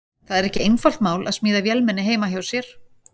Það er ekki einfalt mál að smíða vélmenni heima hjá sér.